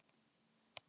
Nú er það ég.